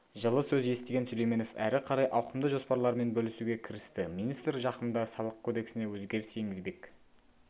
жылы сөз естіген сүлейменов әрі қарай ауқымды жоспарларымен бөлісуге кірісті министр жақында салық кодексіне өзгеріс енгізбек